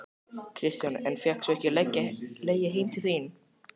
Kristján: En fékkst þú ekki að leggja heim til þín?